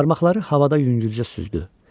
Barmaqları havada yüngülcə süzdü.